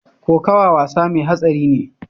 Kokawa wasa mai hatsari ne.